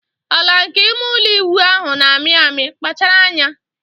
Ala nke ime ụlọ ịwụ ahụ na-amị amị, kpachara anya.